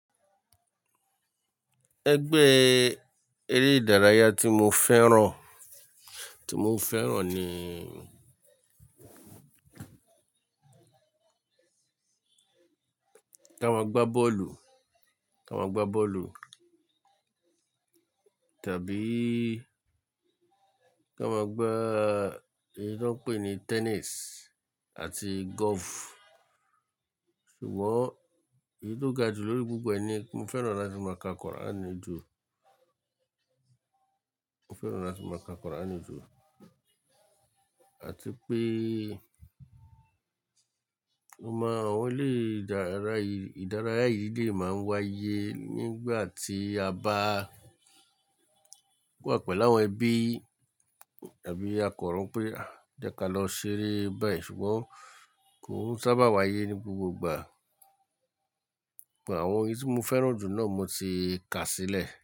Ẹgbẹ́ eré ìdárayá tí mo fẹ́ràn, tí mo fẹ́ràn ni ká máa gbá bọ́ọ̀lù, ká máa gbá bọ́ọ̀lù tàbí ká máa gbá èyí tí wọ́n ń pè ní tennis àti golf. Ṣùgbọ́n èyí tó ga jù lórí gbogbo ẹni, mo fẹ́ràn láti máa ka kọ́ràn nì ju. Mo fẹ́ràn láti máa ka kọ́ràn nìju. Àti pé, mo mọ àwọn eré ìdárayá yìí lè máa ń wáyé nígbà tí a bá wà pẹ̀lú àwọn ẹbí tàbí a kan ro pé, "Jẹ́ ká lọ ṣeré báyìí." Ṣùgbọ́n kò n sábà wáyé ní gbogbo ìgbà. Ṣùgbọ́n àwọn èyí tí mo fẹ́ràn jù náà mo ti kà sílẹ̀